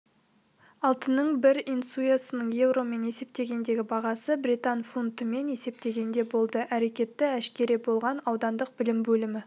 алтынның бір унциясының еуромен есептегендегі бағасы британ фунтымен есептегенде болды әрекеті әшкере болған аудандық білім бөлімі